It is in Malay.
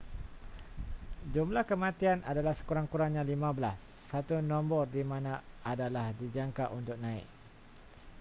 jumlah kematian adalah sekurang-kurangnya 15 satu nombor di mana adalah dijangka untuk naik